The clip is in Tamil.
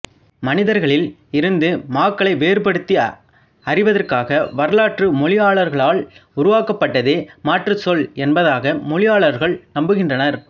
மனிதர்களில் இருந்து மாக்களை வேறுபடுத்தி அறிவதற்காக வரலாற்று மொழியியலாளர்களால் உருவாக்கப்பட்டதே மாற்றுச்சொல் என்பதாக மொழியியலாளர்கள் நம்புகின்றனர்